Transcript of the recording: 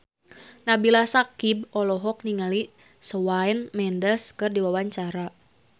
Nabila Syakieb olohok ningali Shawn Mendes keur diwawancara